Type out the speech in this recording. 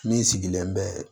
Min sigilen bɛ